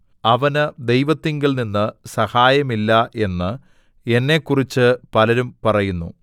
അവന് ദൈവത്തിങ്കൽ നിന്ന് സഹായമില്ല എന്ന് എന്നെക്കുറിച്ച് പലരും പറയുന്നു സേലാ